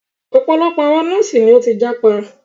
Ọ̀pọ̀lọpọ̀ àwọn nọ́ọ̀sì ni o tí jápa.